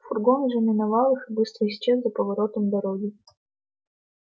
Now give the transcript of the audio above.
фургон уже миновал их и быстро исчез за поворотом дороги